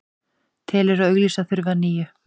Telur að auglýsa þurfi að nýju